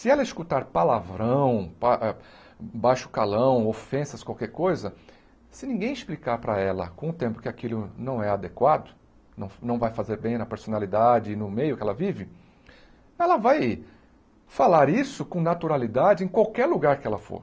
Se ela escutar palavrão, pa ah baixo calão, ofensas, qualquer coisa, se ninguém explicar para ela, com o tempo que aquilo não é adequado, não não vai fazer bem na personalidade e no meio que ela vive, ela vai falar isso com naturalidade em qualquer lugar que ela for.